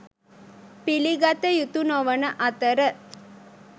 පිළිගත යුතු නොවන අතර